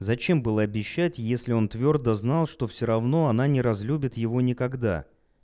зачем было обещать если он твёрдо знал что все равно она не разлюбит его никогда